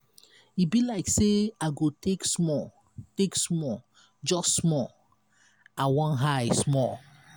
e be like say i go take small take small just small. i wan high small.